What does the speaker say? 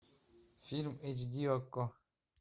фильм эйч ди окко